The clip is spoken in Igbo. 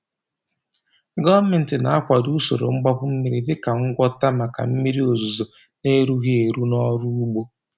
Gọọmenti na-akwado usoro mgbapu mmiri dị ka ngwọta maka mmiri ozuzo na-erughị eru n’ọrụ ugbo.